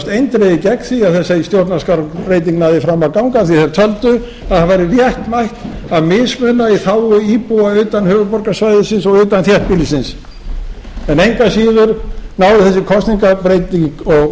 eindregið gegn því að þessi stjórnarskrárbreyting næði fram að ganga því að þeir töldu að það væri réttmætt að mismuna í þágu íbúa utan höfuðborgarsvæðisins og utan þéttbýlisins en engu að síður náði þessi kosningabreyting og